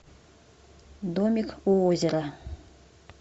домик у озера